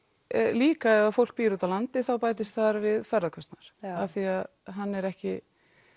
líka ef fólk býr úti á landi þá bætist þar við ferðakostnaður af því að hann er ekki